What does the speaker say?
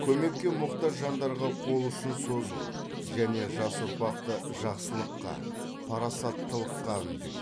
көмекке мұқтаж жандарға қол ұшын созу және жас ұрпақты жақсылыққа парасаттылыққа үндеу